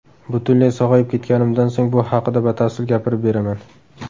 Butunlay sog‘ayib ketganimdan so‘ng bu haqida batafsil gapirib beraman.